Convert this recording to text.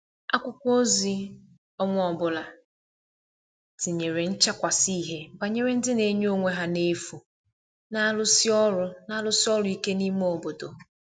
akwụkwo ozi onwa ọbụla tinyere nchakwasi ihie gbanyere ndi n'enye onwe ha n'efu n'arusi ọru n'arusi ọru ike ime obodo